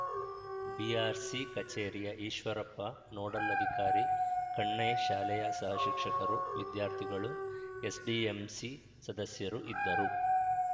BRC ಕಚೇರಿಯ Eshwarappa nodal ಅಧಿಕಾರಿ ಕಣ್ಣೇ ಶಾಲೆಯ ಸಹಶಿಕ್ಷಕರು ವಿದ್ಯಾರ್ಥಿಗಳು ಎಸ್‌ಡಿಎಂಸಿ ಸದಸ್ಯರು ಇದ್ದರು